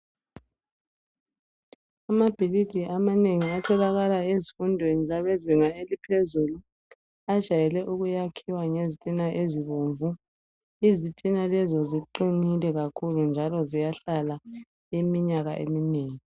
Amabhilidi amanengi atholakala emfundweni yaphezulu ajayele ukwakhiwa ngezitina ezibomvu izitina lezi ziqinile kakhulu njalo ziyahlala iminyaka eminengi.